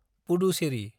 Puducherry